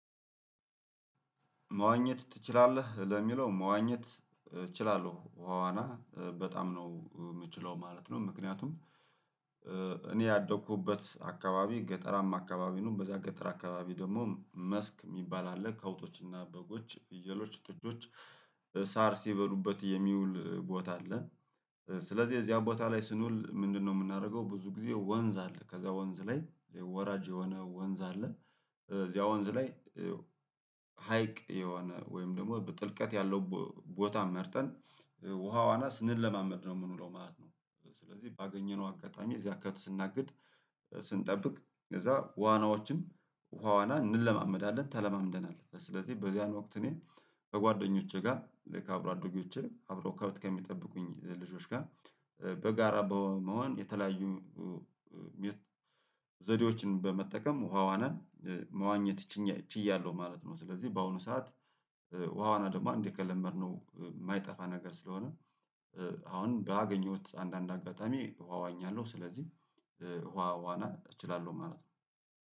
መዋኘት ትችላለህ ለሚለው መዋኘት እችላለሁ ዋዋና በጣም ነው የምችለው ማለት ነው። ምክንያቱም እኔ ያደኩበት አካባቢ ገጠራማ አካባቢ ነው በዚያ ገጠራ አካባቢ ደግሞ መስክ የሚባል አለ ከብቶችና በጎች ፍየሎች ጥጆች ሳር ሲበሉበት የሚውል ቦታ አለ። ስለዚህ እዚያ ቦታ ላይ ስንውል ምንድነው የምናደርገው ብዙ ጊዜ ወንዝ አለ ከዚያ ወንዝ ላይ ወራጅ የሆነ ወንዝ አለ እዚያ ወንዝ ላይ ሀይቅ የሆነ ወይም ደግሞ ጥልቀት ያለው ቦታ መርጠን ውሃ ዋና ስንለማመድ ነው የምንውለው ማለት ነው። ስለዚህ ባገኘነው አጋጣሚ እዚያ ከብት ስናግድ ስንጠብቅ እዚያ ዋናዎችን ውሃ ዋና እንለማመዳለን ተለማምደናል ስለዚህ በዚያን ወቅት እኔ በጓደኞቼ ጋር ከአብሮ አደጎቼ አብረው ከብት ከሚጠብቁኝ ልጆች ጋር በጋራ በመሆን የተለያዩ የት ዘዴዎችን በመጠቀም ውሃ ዋንን መዋኘት ች ችያለሁ ማለት ነው። ስለዚህ በአሁኑ ሰዓት ውሃ ዋና ደግሞ አንዴ ከለመድነው የማይጠፋ ነገር ስለሆነ አሁን ባገኘሁት አንዳንድ አጋጣሚ ውሃ ዋኛለሁ ስለዚህ ውሃ ዋና እችላለሁ ማለት ነው